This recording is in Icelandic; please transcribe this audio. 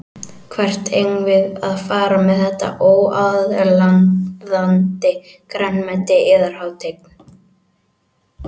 Hvert eigum við að fara með þetta óaðlaðandi grænmeti yðar hátign.